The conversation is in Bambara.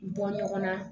Bɔ ɲɔgɔn na